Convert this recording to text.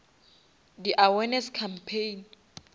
di awareness campaign